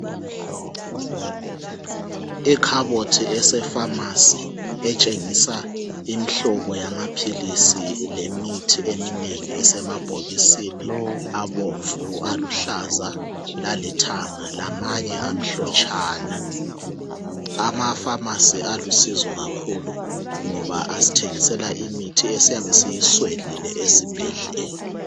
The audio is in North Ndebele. Ikhabothi esepharmacy etshengisa imhlobo yamaphilisi lemithi eminengi esemabhokisini abomvu aluhlaza lalithanga lamanye amhlotshana , amapharmacy alusizo kakhulu ngoba asthengisela imithi esiyabe siyiswelile ezibhedlela